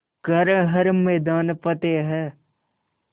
कर हर मैदान फ़तेह